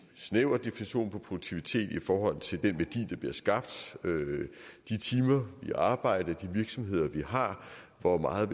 snæver definition af produktivitet i forhold til den værdi der bliver skabt de timer vi arbejder de virksomheder vi har hvor meget